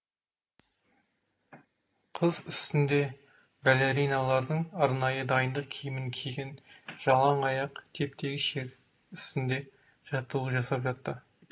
қыз үстінде балериналардың арнайы дайындық киімін киген жалаң аяқ теп тегіс жер үстінде жаттығу жасап жатты